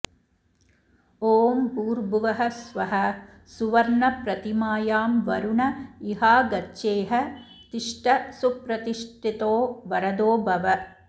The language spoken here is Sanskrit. ॐ भूर्भुवः स्वः सुवर्णप्रतिमायां वरुण इहागच्छेह तिष्ठ सुप्रतिष्ठितो वरदो भव